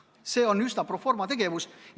See on üsna pro forma tegevus.